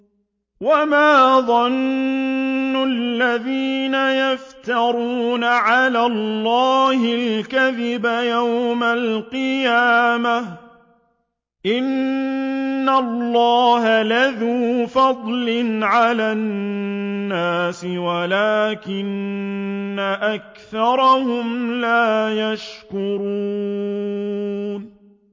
وَمَا ظَنُّ الَّذِينَ يَفْتَرُونَ عَلَى اللَّهِ الْكَذِبَ يَوْمَ الْقِيَامَةِ ۗ إِنَّ اللَّهَ لَذُو فَضْلٍ عَلَى النَّاسِ وَلَٰكِنَّ أَكْثَرَهُمْ لَا يَشْكُرُونَ